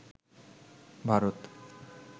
Bharat